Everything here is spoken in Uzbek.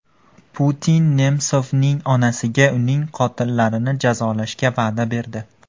Putin Nemsovning onasiga uning qotillarini jazolashga va’da berdi.